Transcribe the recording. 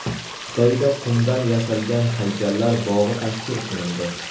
Xitoyda qumdan yasalgan haykallar bog‘i tashkil qilindi.